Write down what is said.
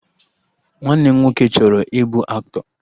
Nwanne m nwoke chọrọ ịbụ aktọ